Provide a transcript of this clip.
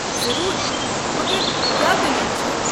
ضروٗر، مگرکیٛاہ دٔلیٖل چھےٚ؟